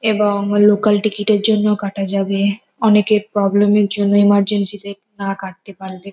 এবং লোকাল টিকিটের জন্য কাটা যাবে। অনেকের প্রবলেমের জন্য এমারজেন্সিতে না কাটতে পারলে।